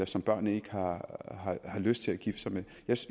som børnene ikke har lyst til at gifte sig med